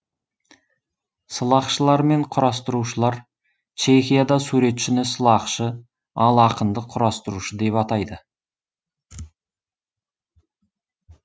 сылақшылар мен құрастырушылар чехияда суретшіні сылақшы ал ақынды құрастырушы деп атайды